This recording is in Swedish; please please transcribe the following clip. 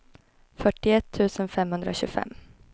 fyrtioett tusen femhundratjugofem